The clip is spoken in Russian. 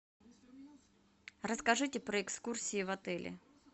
расскажите про экскурсии в отеле